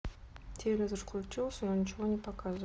телевизор включился но ничего не показывает